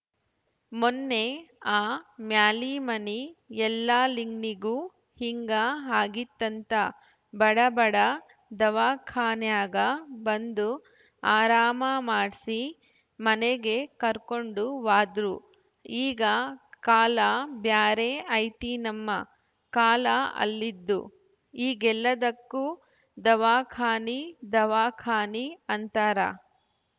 ಮೊನ್ನೇ ಆ ಮ್ಯಾಲಿಮನಿ ಯಲ್ಲಾಲಿಂಗ್ನಿಗೂ ಹಿಂಗ ಆಗಿತ್ಹಂತ ಬಡ ಬಡ ದವಾಖಾನ್ಯಾಗ ಬಂದು ಆರಾಮ ಮಾಡ್ಸಿ ಮನೆಗೆ ಕರ್ಕೊಂಡು ಹ್ವಾದ್ರು ಈಗ ಕಾಲ ಬ್ಯಾರೆ ಐತಿನಮ್ಮ ಕಾಲ ಅಲ್ಲಿದು ಈಗೆಲ್ಲದಕ್ಕೂ ದವಾಖಾನಿ ದವಾಖಾನಿ ಅಂತಾರ